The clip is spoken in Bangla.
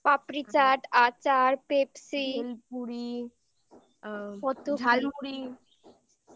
পাপড়ি চাট আচার Pepsi আ ভেলপুরি ঝাল মুড়ি ওই